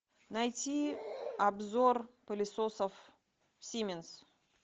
найти обзор пылесосов сименс